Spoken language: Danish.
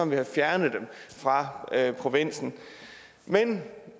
vi har fjernet dem fra provinsen men